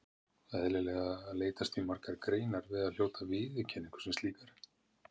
Eðlilega leitast því margar greinar við að hljóta viðurkenningu sem slíkar.